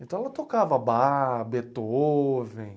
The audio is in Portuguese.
Então ela tocava Bach, Beethoven.